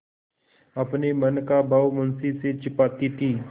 अपने मन का भाव मुंशी से छिपाती थी